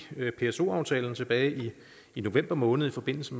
pso aftalen tilbage i november måned i forbindelse